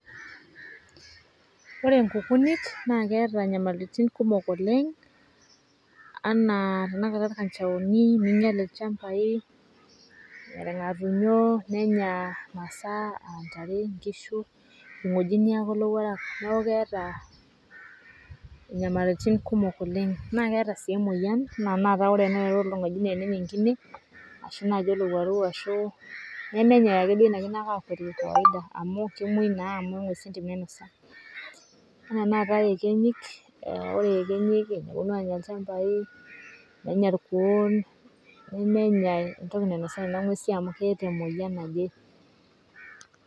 Ore oonkukunit naa keeta inyamalitin kumok oleng anaa tana kata ilkanjaoni neinyal ilchambai, ilng'atunyoo nenyaa masaa aantare oonkishu. olng'ojiniak oo lowuarak naaku keata inyamalirritin kumok oleng, naa keeta sii imoyian naa ana taata enelo olong'ojine neya enkine ashu enaake olowuaru nemenyei duake ina aitainye faida amuu kemoi naa amuu ing'uess entim nainosa, naa teneatao ekenyik, ore ekenyik neponu aanya ilchambai nenya lkuoon, menya entoki nainosa in aing'uesi amuu keeta emoyian najee.